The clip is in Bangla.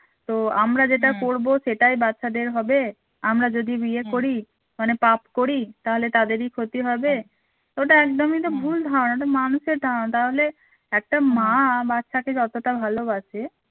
তো আমরা যেটা করবো সেটাই বাচ্চাদের হবে. আমরা যদি বিয়ে করি মানে পাপ করি তাহলে তাদেরই ক্ষতি হবে ওটা একদমই তো ভুল ধারণা ওটা মানুষের ধারণা তাহলে একটা মা বাচ্চাকে যতটা ভালোবাসে